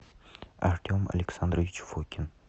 артем александрович фокин